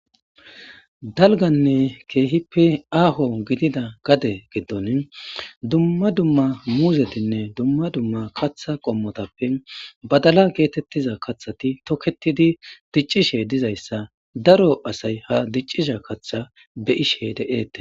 Dalgganne kehhippe aaho gidida giddoni duma duma muzzetinne duma duma kaththa qommotappe baddala getetiza kaththati tokketidi diccishe dizayisa daro asayi ha dicciza kaththa be'ishe de'etes.